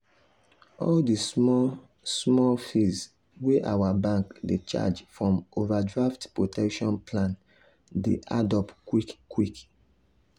all the small-small fees wey our bank dey charge from overdraft protection plan dey add up quick quick.